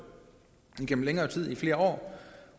igennem længere tid i flere år